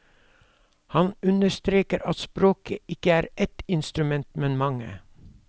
Han understreker at språket ikke er ett instrument, men mange.